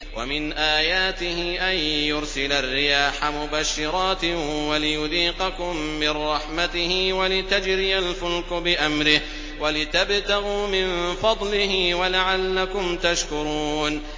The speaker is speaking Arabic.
وَمِنْ آيَاتِهِ أَن يُرْسِلَ الرِّيَاحَ مُبَشِّرَاتٍ وَلِيُذِيقَكُم مِّن رَّحْمَتِهِ وَلِتَجْرِيَ الْفُلْكُ بِأَمْرِهِ وَلِتَبْتَغُوا مِن فَضْلِهِ وَلَعَلَّكُمْ تَشْكُرُونَ